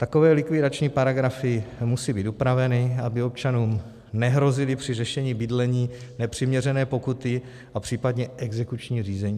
Takové likvidační paragrafy musí týt upraveny, aby občanům nehrozily při řešení bydlení nepřiměřené pokuty a případné exekuční řízení.